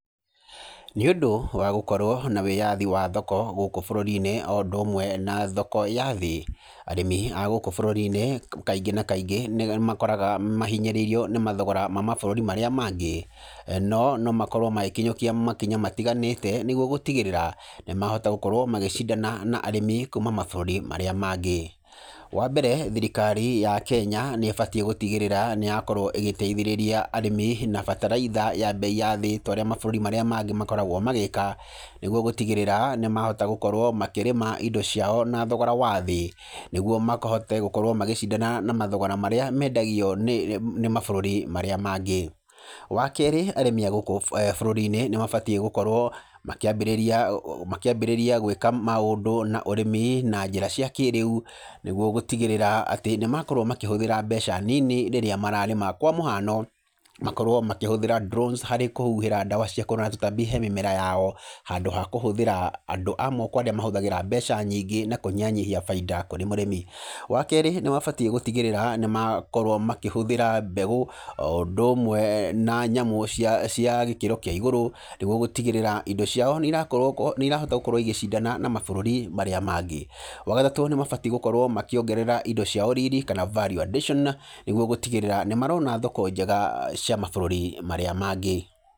Nĩ ũndũ wa gũkorwo na wĩyathi wa thoko gũkũ bũrũri-inĩ, o ũndũ ũmwe na thoko ya thĩ, arĩmi agũkũ bũrũri-inĩ kaingĩ na kaingĩ, nĩ makoraga mahinyĩrĩirio nĩ mathogora ma mabũrũri marĩa mangĩ, no nomakorwo magĩkinyũkia makinya matiganĩte, nĩguo gũtigĩrĩra nĩ mahota gũkorwo magĩcindana na arĩmi kuuma mabũrũri marĩa mangĩ, wa mbere thirikari ya Kenya, nĩ ĩbatiĩ gũtigĩrĩra nĩ yakorwo ĩgĩteithĩrĩria arĩmi, na bataraitha ya mbei ya thĩ, torĩa mabũrũri marĩa mangĩ makoragwo magĩka, nĩguo gũtigĩrĩra nĩ mahota gũkorwo makĩrĩma indo ciao na thogora wathĩ, nĩguo mahote gũkorwo magĩcindana na mathogora marĩa mendagio nĩ nĩ mabũrũri marĩa mangĩ, wa kerĩ, arĩmi agũkũ eeh bũrũri-inĩ, nĩ mabatiĩ gũkorwo makĩambĩrĩria ũũ makĩambĩrĩria gwkĩka maũndũ na ũrĩmi na njĩra cia kĩrĩu, nĩguo gũtigĩrĩra atĩ nĩ makorwo makĩhũthĩra mbeca nini rĩrĩa mararĩma, kwa mũhano, makorwo makĩhũthĩra drones harĩ kũhuhĩra ndawa cia kũhũrana na tũtambi he mĩmera yao, handũ ha kũhũthĩra andũ a moko arĩa mahũthĩraga mbeca nyingĩ, na kũnyihanyihia bainda kũrĩ mũrĩmi, wa kerĩ, nĩ mabatiĩ gũtigĩrĩra nĩ makorwo makĩhũthĩra mbegũ o ũndũ ũmwe na nyamũ cia cia gĩkĩro kĩa igũrũ, nĩguo gũtigĩrĩra indo ciao nĩ irakorwo nĩ irahoto gũkorwo igĩcindana na mabũrũri marĩa mangĩ, wa gatatũ nĩ mabatiĩ nĩ gũkorwo makĩongerera indo ciao riri kana value addition nĩguo gũtigĩrĩra nĩ marona thoko njega cia mabũrũri marĩa mangĩ.